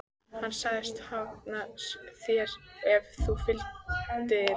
Hann sagðist hafna þér ef þú fylgdir mér.